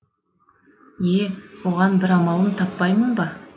е оған бір амалын таппаймын ба